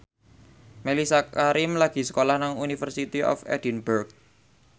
Mellisa Karim lagi sekolah nang University of Edinburgh